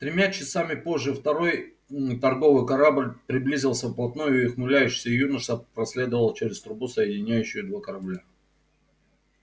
тремя часами позже второй торговый корабль приблизился вплотную и ухмыляющийся юноша проследовал через трубу соединяющую два корабля